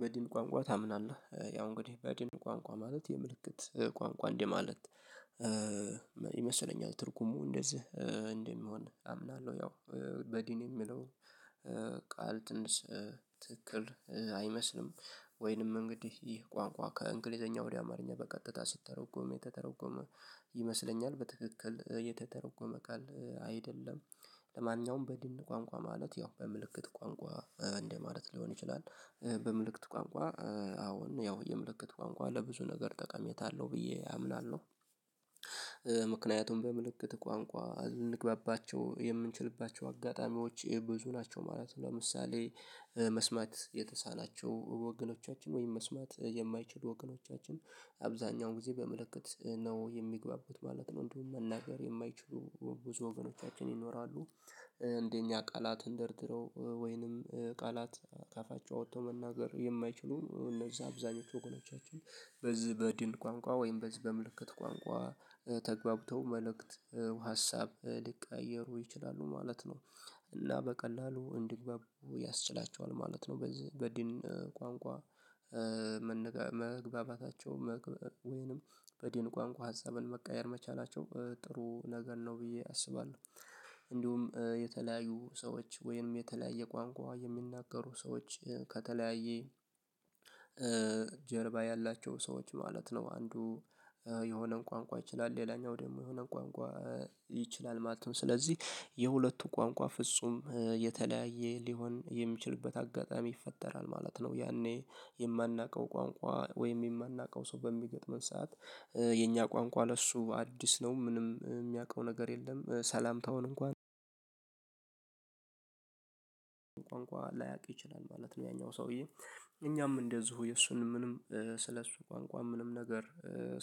በዲን ቋንቋ ታምናለህ ያው እንግዲህ በዲን ቋንቋ ማለት የምልክት ቋንቋ እንደ ማለት ይመስለኛል ትርጉሙ እንደዚህ እንደሚሆን አምናለሁ ያው በድን የሚለው ቃል ትንሽ ትክክል አይመስልም ወይንም እንግዲህ ይህ ቋንቋ ከእንግሊዘኛ ወደ አማርኛ በቀጥታ ሲተረጎም የተተረጎመ ይመስለኛል በትክክል የተተረጎመ ቃል አይደለም። ለማንኛውም በድን ቋንቋ ማለት ያው በምልክት ቋንቋ እንደማለት ሊሆን ይችላል በምልክት ቋንቋ አዎ ያው የምልክት ቋንቋ ለብዙ ነገር ጠቃሚያታ አለው ብዬ አምናለሁ። ምክንያቱም በምልክት ቋንቋ እንግባባቸው የምንችልባቸው አጋጣሚዎች ይሄ ብዙ ናቸው ማለት ነው። ለምሳሌ መስማት የተሳናቸው ወገኖቻችን ወይም መስማት የማይችሉ ወገኖቻችን አብዛኛውን ጊዜ በምልክት ነው የሚግባቡት ማለት ነው እንዲሁም መናገር የማይችሉ ብዙ ወገኖቻችን ይኖራሉ። እንደኛ ቃላት ደርድረው ወይንም ቃላት ከአፋቸው አውጥተው መናገር የማይችሉ እነዛ አብዛኞቹ ወገኖቻችን በዚህ በድን ቋንቋ ወይም በዚህ በምልክት ቋንቋ ተግባብተው መልእክት ሀሳብ ሊቀያየሩ ይችላሉ ማለት ነው። እና በቀላሉ እንዲግባቡ ያስችላቸዋል ማለት ነው በድን ቋንቋ መግባባታቸው ወይንም በድን ቋንቋ ሀሳብን መቀያየር መቻላቸው ጥሩ ነገር ነው ብዬ አስባለሁ። እንዲሁም የተለያዩ ሰዎች ወይም የተለያየ ቋንቋ የሚናገሩ ሰዎች ከተለያየ ጀርባ ያላቸው ሰዎች ማለት ነው አንዱ የሆነን ቋንቋ ይችላል ሌላኛው ደግሞ የሆነን ቋንቋ ይችላል ማለትም ስለዚህ የሁለቱ ቋንቋ ፍጹም የተለያየ ሊሆን የሚችልበት አጋጣሚ ይፈጠራል ማለት ነው። ያኔ የማናውቀው ቋንቋ ወይም የማናውቀው ሰው በሚገጥመን ሰዓት የእኛ ቋንቋ ለእሱ አዲስ ነው ምንም የሚያውቀው ነገር የለም ሰላምታውን እንኳን ቋንቋ ላያቅ ይችላል ማለት ነው። ያኛው ሰውዬ እኛም እንደዚሁ የእሱን ምንም ስለእሱ ቋንቋ ምንም ነገር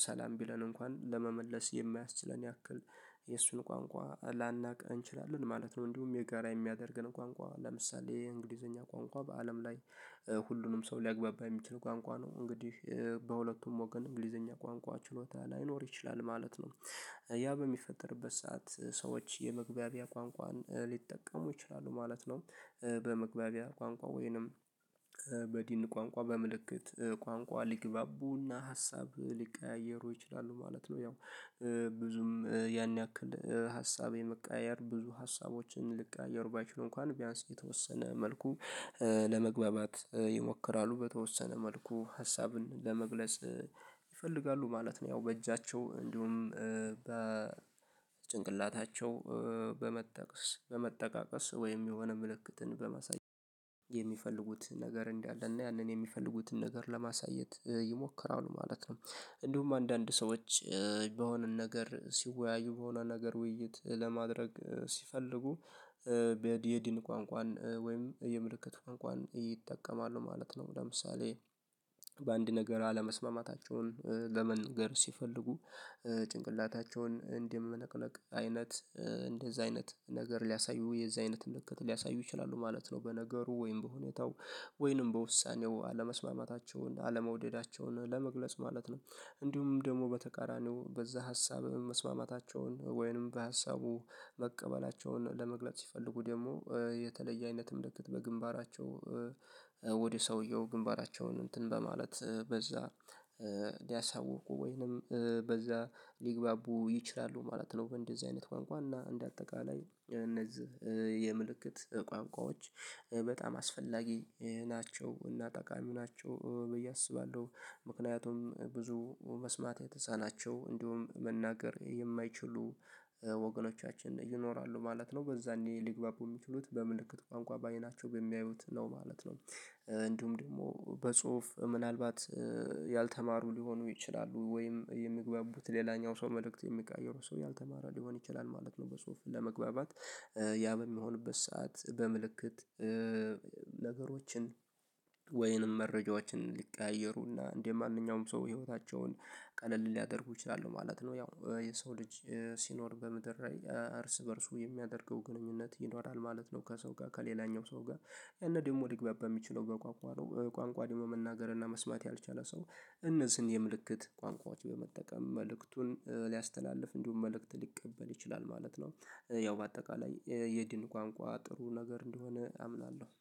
ሰላም ቢለን እንኳን ለመመለስ የማያስችለን ያክል የእሱን ቋንቋ ላናውቅ እንችላለን ማለት ነው። እንዲሁም የጋራ የሚያደርገን ቋንቋ ለምሳሌ የእንግሊዘኛ ቋንቋ በአለም ላይ ሁሉንም ሰው ሊያግባባ የሚችል ቋንቋ ነው እንግዲህ በሁለቱም ወገን እንግሊዘኛ ቋንቋ ችሎታ ላይኖር ይችላል ማለት ነው። ያ በሚፈጠርበት ሰዓት ሰዎች የመግባቢያ ቋንቋን ሊጠቀሙ ይችላሉ ማለት ነው በመግባቢያ ቋንቋ ወይንም በድን ቋንቋ በምልክት ቋንቋ ሊግባቡና ሀሳብ ሊቀያየሩ ይችላሉ ማለት ነው። ያው ብዙም ያን ያክል ሀሳብ የመቀያየር ብዙ ሀሳቦችን ሊቀያየሩ ባይችሉ እንኳን ቢያንስ የተወሰነ መልኩ ለመግባባት ይሞክራሉ በተወሰነ መልኩ ሀሳብን ለመግለጽ ይፈልጋሉ ማለት ነው። ያው በእጃቸው እንዲሁም በጭንቅላታቸው በመጠቀስ በመጠቃቀስ ወይም የሆነ ምልክትን በማሳየት የሚፈልጉትን ነገር እንዳለና ያንን የሚፈልጉትን ነገር ለማሳየት ይሞከራሉ ማለት ነው። እንዲሁም አንዳንድ ሰዎች በሆነ ነገር ሲወያዩ በሆነ ነገር ውይይት ለማድረግ ሲፈልጉ በዲ የድን ቋንቋን ወይም የምልክት ቋንቋን ይጠቀማሉ ማለት ነው። ለምሳሌ በአንድ ነገር አለመስማማታቸውን ለመንገር ሲፈልጉ ጭንቅላታቸውን እንደመነቅነቅ አይነት እንደዛ አይነት ነገር ሊያሳዩ የዛ አይነት ምልክት ሊያሳዩ ይችላሉ ማለት ነው በነገሩ ወይም በሁኔታው ወይም በውሳኔው አለመስማማታቸውን አለመውደዳቸውን ለመግለጽ ማለት ነው። እንዲሁም ደግሞ በተቃራኒው በዛ ሀሳብ መስማማታቸውን ወይንም በሀሳቡ መቀበላቸውን ለመግለጽ ሲፈልጉ ደግሞ የተለየ አይነት ምልክት በግንባራቸው ወደ ሰውየው ግንባራቸውን እንትን በማለት በዛ ሊያሳውቁ ወይንም በዛ ሊግባቡ ይችላሉ ማለት ነው። እንደዚህ አይነት ቋንቋ እና እንደ አጠቃላይ እነዚህ የምልክት ቋንቋዎች በጣም አስፈላጊ ናቸው እና ጠቃሚ ናቸው ብዬ አስባለሁ። ምክንያቱም ብዙ መስማት የተሳናቸው እንዲሁም መናገር የማይችሉ ወገኖቻችን ይኖራሉ ማለት ነው በዛኔ ሊግባቡ የሚችሉት በምልክት ቋንቋ በአይናቸው በሚያዩት ነው ማለት ነው። እንዲሁም ደግሞ በጽሁፍ ምናልባት ያልተማሩ ሊሆኑ ይችላሉ ወይም የሚግባቡት ሌላኛው ሰው መልእክት የሚቀይሩ ሰው ያልተማረ ሊሆን ይችላል ማለት ነው። በጽሁፍ ለመግባባት ያ በሚሆንበት ሰዓት በምልክት ነገሮችን ወይንም መረጃዎችን ሊቀያየሩና እንደ ማንኛውም ሰው ህይወታቸውን ቀለል ሊያደርጉ ይችላሉ ማለት ነው። ያው የሰው ልጅ ሲኖር በምድር ላይ እርስ በእርሱ የሚያደርገው ግንኙነት ይኖራል ማለት ነው። ከሰው ጋር ከሌላኛው ሰው ጋር እና ደግሞ ሊግባባ ሚችለው በቋንቋ ነው። ቋንቋ ደግሞ መናገር እና መስማት ያልቻለ ሰው እነዚህን የምልክት ቋንቋዎች በመጠቀም መልእክቱን ሊያስተላልፍ እንዲሁም መልእክት ሊቀበል ይችላል ማለት ነው። ያው በአጠቃላይ የድን ቋንቋ ጥሩ ነገር እንደሆነ አምናለሁ።